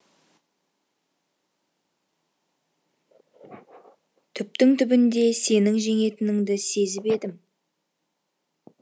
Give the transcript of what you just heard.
түптің түбінде сенің жеңетініңді сезіп едім